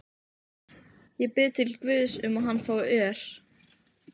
Ég bið til Guðs um að hann fái ör